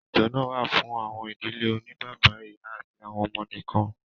Ètò náà wa fún àwọn ìdílé oní bàbá, ìyá àti àwọn ọmọ nìkan